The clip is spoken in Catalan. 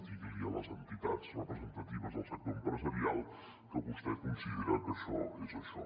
digui ho a les entitats representatives del sector empresarial que vostè considera que això és això